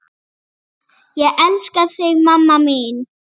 Ég elska þig, mamma mín.